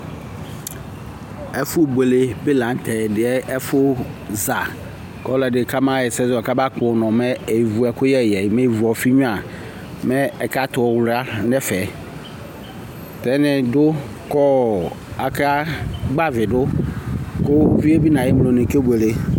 ɛƒʋ bʋɛlɛ bi lantɛ lɛ ɛƒʋ za kʋ ɔlɔdi kamayɛsɛ kama kpɔ ʋnɔ mɛ ɛvʋ ɛkʋyɛ yɛ mɛ ɛvʋ ɔƒi nyʋa mɛ ɛka tɛ ɔwlia nʋ ɛƒɛ, ɛdini dʋ kɔ aka gbavi dʋ kʋ ʋviɛ bi nʋ ayi ɛmlɔ ni akɛ bʋɛlɛ